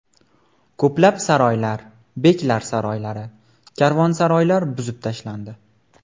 Ko‘plab saroylar, beklar saroylari, karvonsaroylar buzib tashlandi.